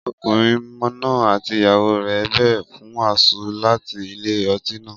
Ọkùnrin náà àti ìyàwó rẹ̀ bèrè fún àsun láti ilé-ọtí náà